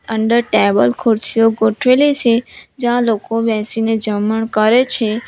Under table ખુરચીઓ ગોઠવેલી છે જ્યાં લોકો બેસીને જમણ કરે છે.